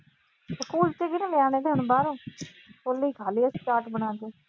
ਕੁਲਚੇ ਕਿਦੇ ਲਈ, ਨਿਆਣੇ ਤਾਂ ਹੁਣ ਬਾਹਰ ਆ। ਛੋਲੇ ਈ ਖਾ ਲਏ ਅਸੀਂ ਚਾਟ ਬਣਾ ਕੇ।